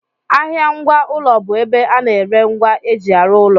Ahịa ngwa ụlọ bụ ebe a na-ere ngwa eji arụ ụlọ